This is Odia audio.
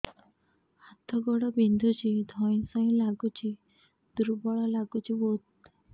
ହାତ ଗୋଡ ବିନ୍ଧୁଛି ଧଇଁସଇଁ ଲାଗୁଚି ଦୁର୍ବଳ ଲାଗୁଚି ବହୁତ